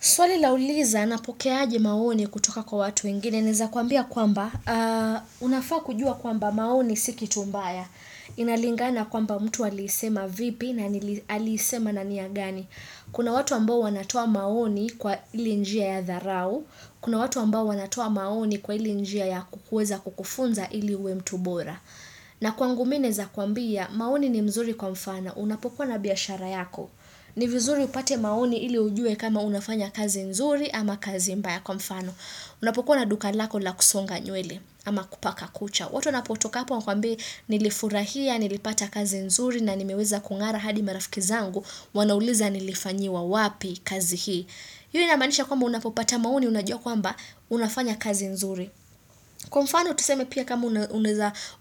Swali lauliza, anapoke aje maoni kutoka kwa watu wengine. Naeza kuambia kwamba, unafaa kujua kwamba maoni si kitu mbaya. Inalingana kwamba mtu alisema vipi na aliisema na nia gani. Kuna watu ambao wanatoa maoni kwa ile njia ya dharau. Kuna watu ambao wanatoa maoni kwa ilei njia ya kukweza kukufunza ili we mtu bora. Na kwangu mimi naweza kuambia, maoni ni mzuri kwa mfano unapokuwa na biashara yako. Ni vizuri upate maoni ili ujue kama unafanya kazi nzuri ama kazi mbaya kwa mfano. Unapokuwa na duka lako la kusonga nywele ama kupaka kucha. Watu wanatoka wakuambie nilifurahia, nilipata kazi nzuri na nimeweza kung'ara hadi marafiki zangu, wanauliza nilifanyiwa wapi kazi hii. Hiyo inamaanisha kwamba unapopata maoni unajua kwamba unafanya kazi nzuri. Kwa mfano tuseme pia kama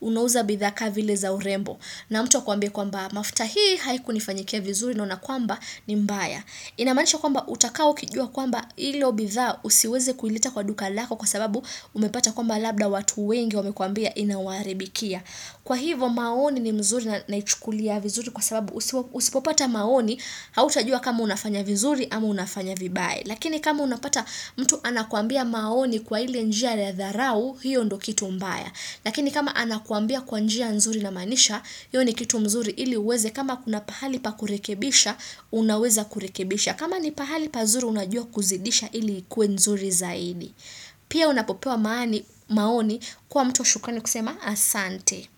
unauza bidhaa kaa vile za urembo. Na mtu akwambie kwamba mafuta hii haikunifanyikia vizuri naona kwamba ni mbaya. Inamaanisha kwamba utakaa ukijua kwamba ili bidhaa usiweze kueleta kwa duka lako kwa sababu umepata kwamba labda watu wengi wamekwambia inawaharibikia. Kwa hivo maoni ni mzuri naichukulia vizuri kwa sababu usipopata maoni hauta jua kama unafanya vizuri ama unafanya vibaya. Lakini kama unapata mtu anakuambia maoni kwa ile njia ya dharau hiyo ndo kitu mbaya. Lakini kama anakuambia kwa njia nzuri inamaanisha, hiyo ni kitu mzuri ili uweze kama kuna pahali pakurekebisha, unaweza kurekebisha. Kama ni pahali pazuri unajua kuzidisha ili kue nzuri zaidi. Pia unapopewa maoni kwa mtu wa shukrani kusema asante.